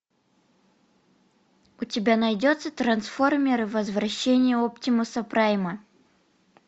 у тебя найдется трансформеры возвращение оптимуса прайма